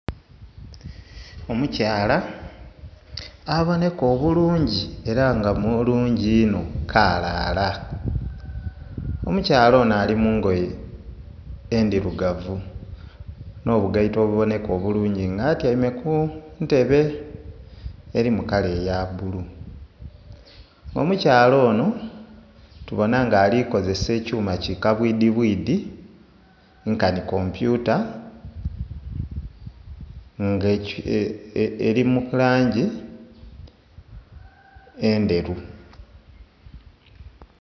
Omukyala abonheka obulungi ela nga mulungi inho kaalaala. Omukyala ono ali mu ngoye endhirugavu nh'obugaito obubonheka obulungi nga atyaime ku ntebe eli mu kala eya bbulu. Omukyala ono tubona nga ali kozesa ekyuma ki kabwidhibwidhi nkanhi kompyuta ng'eli mu langi endheru.